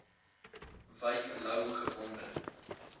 wyk louw gewonder